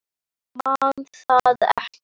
Man það ekki.